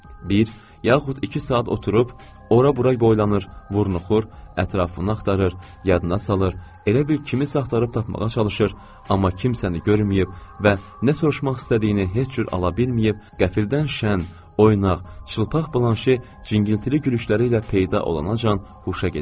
Bir yaxud iki saat oturub, ora-bura boylanır, vurnuxur, ətrafını axtarır, yadına salır, elə bir kimisə axtarıb tapmağa çalışır, amma kimsəni görməyib və nə soruşmaq istədiyini heç cür ala bilməyib, qəflətən şən, oynaq, çılpaq Blanşe cingiltili gülüşləri ilə peyda olana qədər huşa gedirdi.